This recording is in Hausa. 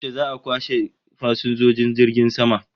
Yaushe za'a kwashe fasinjojin jirgin sama?